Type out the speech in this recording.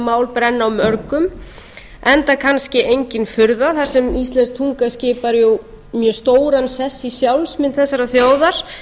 mál brenni á mörgum enda kannski engin furða þar sem íslensk tunga skipar jú mjög stóran sess í sjálfsmynd þessarar þjóðar